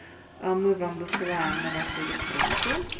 а мы вам высылаем на вашу электронку